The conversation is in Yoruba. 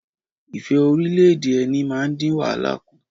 Ìfẹ́-orílẹ̀ - èdè - ẹni máa dín wàhálà kù.